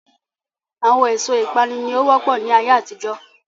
Àwọn èso ìpanu ni ó wọ́pọ̀ ni ayé àtijọ́